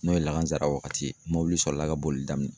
N'o ye lahansara waati ye, mobili sɔrɔla ka boli daminɛ.